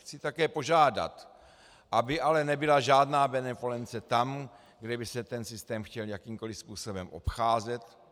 Chci také požádat, aby ale nebyla žádná benevolence tam, kde by se ten systém chtěl jakýmkoli způsobem obcházet.